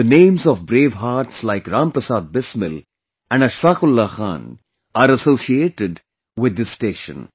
The names of bravehearts like Ram Prasad Bismil and Ashfaq Ullah Khan are associated with this station